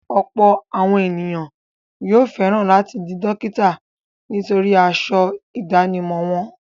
Ọ̀pọ̀ àwọn ènìyàn yóò fẹ̀ran láti di dókítà nítorí aṣọ ìdánimọ̀ wọn.